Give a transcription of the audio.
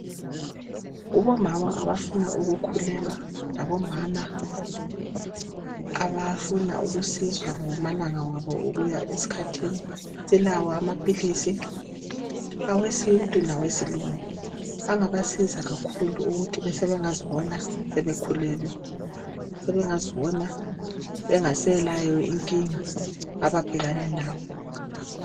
Kubomama obafuna ukukhulelwa labomama abafuna ukusizwa ngamalanga abo okuya esikhathini silawo amaphilisi awesintu lawesilungu angabasiza kakhulu ukuthi sebengazibona sebekhulelwe sebengazibona bengasela nkinga ababhekane nayo.